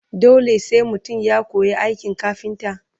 dole sai mutum ya koya aikin kafinta?